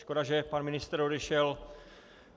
Škoda, že pan ministr odešel.